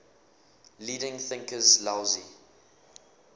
leading thinkers laozi